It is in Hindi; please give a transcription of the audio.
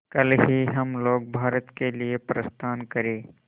कल ही हम लोग भारत के लिए प्रस्थान करें